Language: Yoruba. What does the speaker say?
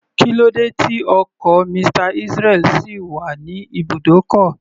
Kílódé tí ọkọ̀ Mr. Israel sì wà ní ibùdókọ̀?